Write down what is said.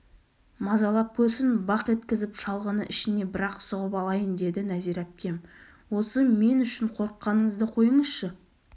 мазалап көрсін бақ еткізіп шалғыны ішіне бір-ақ сұғып алайын деді нәзира әпкем осы мен үшің қорыққаныңызды қойыңызшы